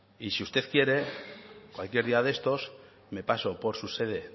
y si usted quiere cualquier día de estos me paso por su sede